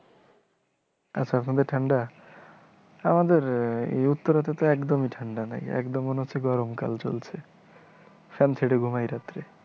আচ্ছা আপনাদের ঠাণ্ডা, আমাদের এই উত্তরে তো একদমই ঠাণ্ডা নাই, একদম মনে হচ্ছে গরম কাল চলছে, ফ্যান ছেড়ে ঘুমাই রাতে